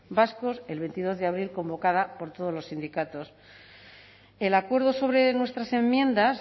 vascos el veintidós de abril convocada por todos los sindicatos el acuerdo sobre nuestras enmiendas